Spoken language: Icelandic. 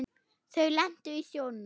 Þau lentu í sjónum.